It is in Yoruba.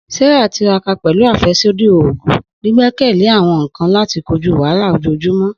Sarah tiraka pẹlu afẹsodi oogun, gbigbekele awọn nkan lati koju wahala ojoojumọ.